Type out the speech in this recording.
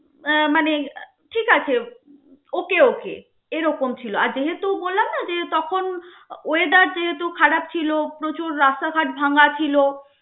আহ মানে ঠিক আছে. okay okay এরকম ছিলো. আর যেহেতু বললাম নাহ তখন weather যেহেতু খারাপ ছিলো, প্রচুর রাস্তাঘাট ভাঙ্গা ছিলো.